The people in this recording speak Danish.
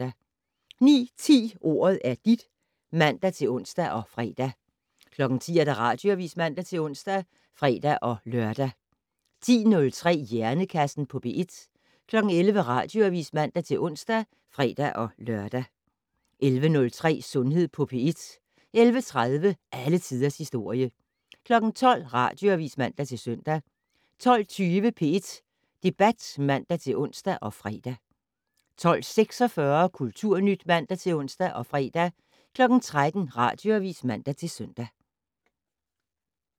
09:10: Ordet er dit (man-ons og fre) 10:00: Radioavis (man-ons og fre-lør) 10:03: Hjernekassen på P1 11:00: Radioavis (man-ons og fre-lør) 11:03: Sundhed på P1 11:30: Alle tiders historie 12:00: Radioavis (man-søn) 12:20: P1 Debat (man-ons og fre) 12:46: Kulturnyt (man-ons og fre) 13:00: Radioavis (man-søn)